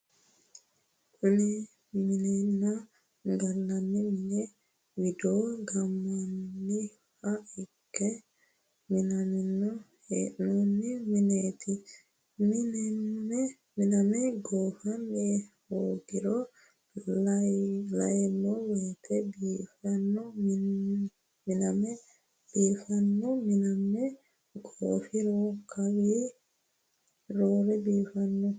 kini minenna gallanni mini wido gaammanniha ikke minanni hee'noonni mineet miname goofano hoogiro la'naayiwote biifeno miname goofiro kawii roore biifanno